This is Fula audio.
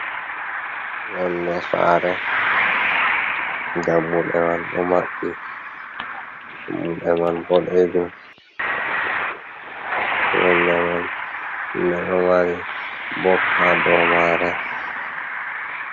Yonde sare dammuɗe man ɗo maɓɓi dammuɗe man boɗejum. Yonde mai nde ɗo mari bob ha dow mare.